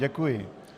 Děkuji.